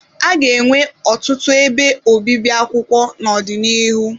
A ga-enwe ọtụtụ ebe obibi akwụkwọ n'ọdịnihu.